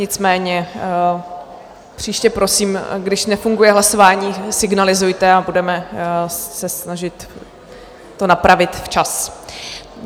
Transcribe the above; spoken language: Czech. Nicméně příště prosím, když nefunguje hlasování, signalizujte a budeme se snažit to napravit včas.